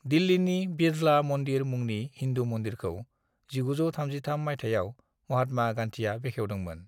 दिल्लीनि बिड़ला मन्दिर मुंनि हिन्दु मन्दिरखौ 1933 मायथाइयाव महात्मा गान्धीआ बेखेवदोंमोन।